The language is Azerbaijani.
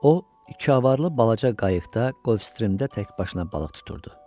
O iki avarılı balaca qayıqda Qolfstrimdə təkbaşına balıq tuturdu.